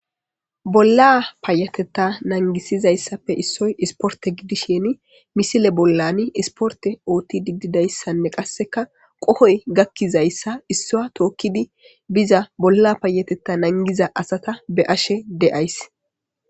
Bolla payatetta nangisiza issappe issoy isporte gidisheni misile bollani isporte oothtidi dida issanne qassika qohoy gakkiza issa issaa tookkidi biza bolla payatetta nangiza asata be'ashe de'ayis.